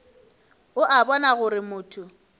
o a bona gore motho